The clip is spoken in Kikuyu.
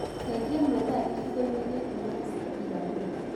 cenjĩa mathaa gĩcĩgoĩni gĩkĩ matũike irathĩro